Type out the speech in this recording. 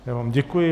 Já vám děkuji.